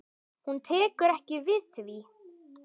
Hún tekur ekki við því.